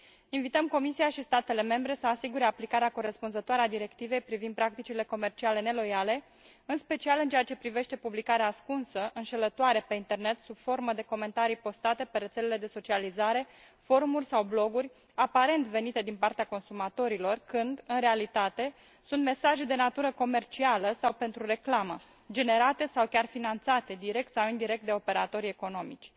Invităm Comisia și statele membre să asigure aplicarea corespunzătoare a Directivei privind practicile comerciale neloiale, în special în ceea ce privește publicarea ascunsă, înșelătoare pe internet, sub formă de comentarii postate pe rețele de socializare, forumuri sau bloguri aparent venite din partea consumatorilor, când, în realitate, sunt mesaje de natură comercială sau pentru reclamă, generate sau chiar finanțate direct sau indirect de operatorii economici.